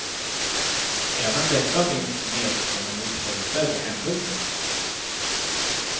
Även detta finns med som en oförutsedd händelse.